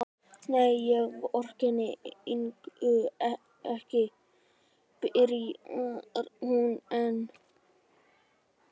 Nei, ég vorkenndi Ingu ekki, byrjar hún enn.